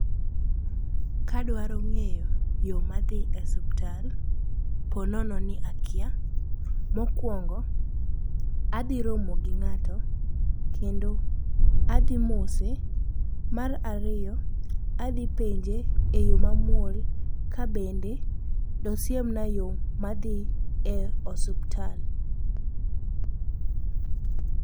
Kadwaro ng'eyo yo madhi e suptal po nono ni akia, mokwongo adhiromo gi ng'ato kendo adhi mose. Mar ariyo adhi penje e yo mamuol ka bende dosiemna yo madhi e osuptal.